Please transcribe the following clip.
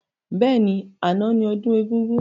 Bẹ́ẹ̀ni, àná ni ọdún egúngún.